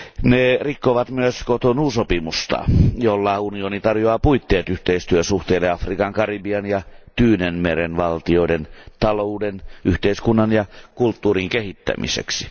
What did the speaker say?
Ne rikkovat myös Cotonoun sopimusta, jolla unioni tarjoaa puitteet yhteistyösuhteille Afrikan, Karibian ja Tyynenmeren valtioiden talouden, yhteiskunnan ja kulttuurin kehittämiseksi.